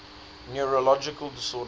neurological disorders